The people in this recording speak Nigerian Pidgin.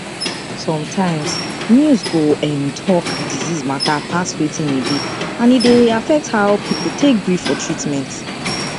sometimes news go um talk disease matter pass wetin e be and e dey affect how people take gree for treatment